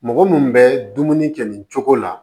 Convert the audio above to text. Mɔgɔ minnu bɛ dumuni kɛ nin cogo la